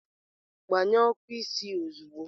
Gbanyụọ ọkụ isi ozugbo!